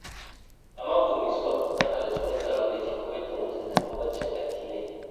A mako mai zuwa, zan halarci wani taro da ke koyar da mutunta bambancin addinai.